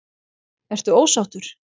Ertu ósáttur?